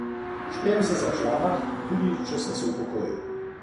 Štejem se za člana, tudi če sem se upokojil.